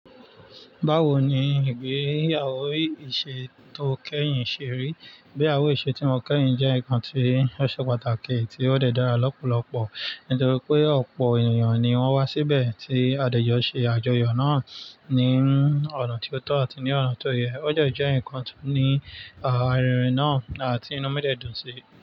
Báwo ni ìgbéyàwó ìṣe tó kẹ́yìn ṣe rí? Ìgbéyàwó ìṣe tí wọ́n kẹ́yìn jẹ́ nǹkan tí ó ṣe pàtàkì tí ó dàra lọ́pọ̀lọpọ̀ nítorí pé ọ̀pọ̀ ènìyàn ni wọ́n wá síbẹ̀ tí àdájọ́ ṣe àjọyọ̀ náà ní ọ̀nà tí ó tọ́ àti ní ọ̀nà tó yẹ. Ó jẹ jẹ́ ǹkan tó ní àrinrin náà à ti inú mi dẹ̀ dùn síi.